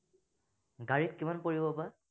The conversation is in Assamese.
গাড়ীত কিমান পৰিব বা